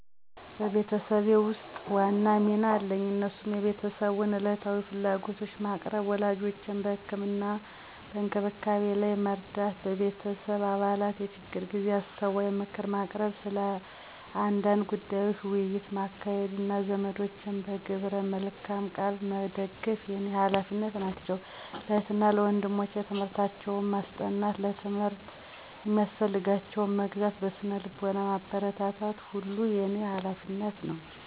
በቤተሰቤ ውስጥ ዋና ሚና አለኝ እነሱም የቤተሰቡን ዕለታዊ ፍላጎቶች ማቅረብ፣ ወላጆቼን በህክምና እና እንክብካቤ ላይ መርዳት፣ በቤተሰብ አባላት የችግር ጊዜ አስተዋይ ምክር ማቅረብ፣ ስለ አንዳንድ ጉዳዮች ውይይት ማካሄድ፣ እና ዘመዶቼን በግብረ መልካም ቃል መደግፍ የኔ ሀላፊነት ናቸው። ለእህት እና ወንድሞቸም ትምህርታቸውን ማስጠናት፣ ለትምህርት የሚያስፈልጋቸውን መግዛት፣ በስነ ልቦና ማበረታታት ሁሉ የኔ ሀላፊነት ነው።